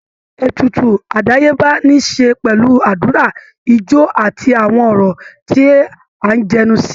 Ètùtù àdáyébá ní i ṣe pẹ̀lú àdúrà, ijó, àti àwọn ọ̀rọ̀ tí à ń jẹnu sí